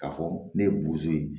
K'a fɔ ne ye bozo ye